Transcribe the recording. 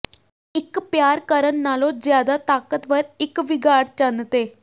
ਇੱਕ ਪਿਆਰ ਕਰਨ ਨਾਲੋਂ ਜਿਆਦਾ ਤਾਕਤਵਰ ਇੱਕ ਵਿਗਾੜ ਚੰਨ ਤੇ